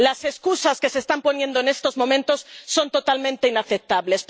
Las excusas que se están poniendo en estos momentos son totalmente inaceptables.